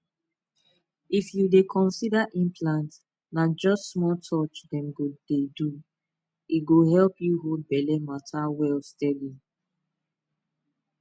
if you dey consider implant na just small touch dem go do e go help you hold belle matter well steady